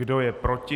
Kdo je proti?